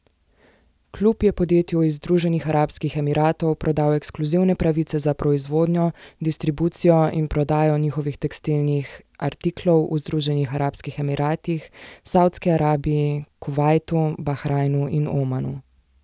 Klub je podjetju iz Združenih arabskih Emiratov prodal ekskluzivne pravice za proizvodno, distribucijo in prodajo njihovih tekstilnih artiklov v Združenih arabskih Emiratih, Savdski Arabiji, Kuvajtu, Bahrajnu in Omanu.